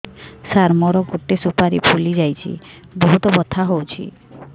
ସାର ମୋର ଗୋଟେ ସୁପାରୀ ଫୁଲିଯାଇଛି ବହୁତ ବଥା ହଉଛି